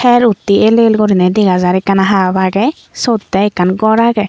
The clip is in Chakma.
her uttey el el guriney dega jar ekkana hap agey suot tey ekkan gor agey.